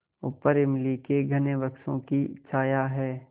ऊपर इमली के घने वृक्षों की छाया है